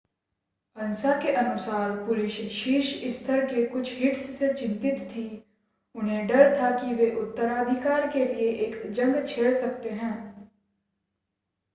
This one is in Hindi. अन्सा के अनुसार पुलिस शीर्ष स्तर के कुछ हिट्स से चिंतित थी उन्हें डर था कि वे उत्तराधिकार के लिए एक जंग छेड़ सकते हैं